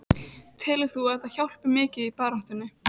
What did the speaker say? Telur þú að þetta hjálpi mikið í baráttunni?